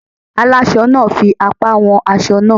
Alásọ náà fi apá wọn aṣọ náà.